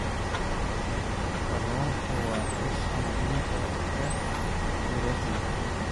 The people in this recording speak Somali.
Kalluunku waa isha muhiimka ah ee borotiinka.